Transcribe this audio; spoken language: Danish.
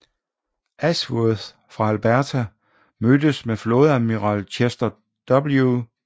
Ashworth fra Alberta mødtes med flådeadmiral Chester W